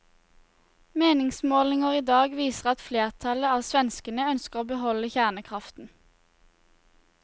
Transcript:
Meningsmålinger i dag viser at flertallet av svenskene ønsker å beholde kjernekraften.